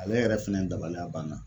Ale yɛrɛ fɛnɛ dabaliya banna